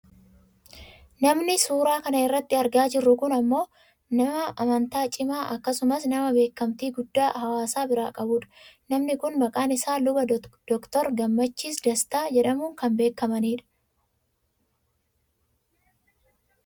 Namni suuraa kana irratti argaa jirru kun ammoo nama amantaa cimaa akkasumas nama beekkamtii guddaa hawaasa biraa qabudha. Namni kun maqaan isaa Luba Dr Gammachiis Dastaa jedhamuun kan beekkamani dha